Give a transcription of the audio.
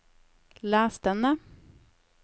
les denne